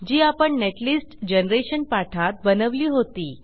जी आपण netlist generation पाठात बनवली होती